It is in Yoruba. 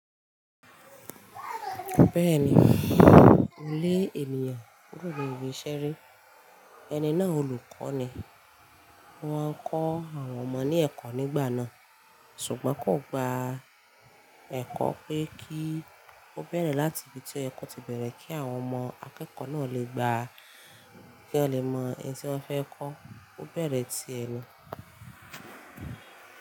Bẹ́ẹ̀ni, olé ènìyàn, gbọ́dọ̀ yí ṣeré. Ẹni náà olùkọ́ ni. Wọ́n ń kọ́ àwọn ọmọ ní ẹ̀kọ́ nígbà náà, ṣùgbọ́n kò gba ẹ̀kọ́ pé kí ó bẹ̀rẹ̀ láti ibi tí o ye kọ́ ti bẹ̀rẹ̀ kí àwọn ọmọ akẹ́kọ̀ọ́ náà lè gbà kí wọ́n lè mọ ohun tí wọ́n fẹ́ kọ́. Ó bẹ̀rẹ̀ ti ẹ ni.